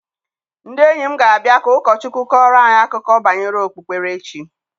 Ndị enyi m ga-abịa ka ụkọ Chukwu kọọrọ anyị akụkọ banyere okpukperechi.